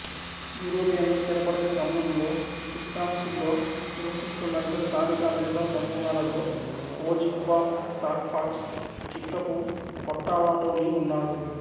యూరోపియన్లు స్థిరపడిన సమయంలో విస్కాన్సిన్లో నివసిస్తున్న ఇతర స్థానిక అమెరికా సమూహాలలో Ojibwa Sauk Fox Kickapoo Potawatomi ఉన్నారు